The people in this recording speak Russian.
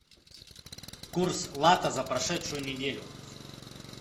курс лата за прошедшую неделю